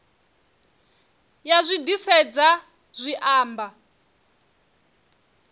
ya zwi disedza zwi amba